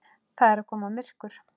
Það er að koma myrkur.